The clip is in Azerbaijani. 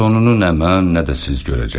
Sonunu nə mən, nə də siz görəcəksiniz.